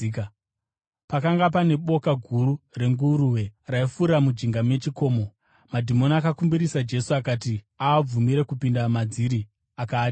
Pakanga pane boka guru renguruve raifura mujinga mechikomo. Madhimoni akakumbirisa Jesu kuti aabvumire kupinda madziri, akaatendera.